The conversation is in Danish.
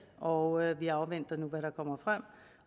og vi afventer nu hvad der kommer frem